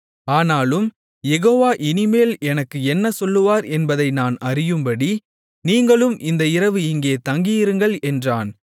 ஆனாலும் யெகோவா இனிமேல் எனக்கு என்ன சொல்லுவார் என்பதை நான் அறியும்படி நீங்களும் இந்த இரவு இங்கே தங்கியிருங்கள் என்றான்